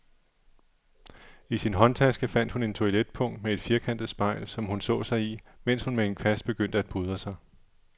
I sin håndtaske fandt hun et toiletpung med et firkantet spejl, som hun så sig i, mens hun med en kvast begyndte at pudre sig.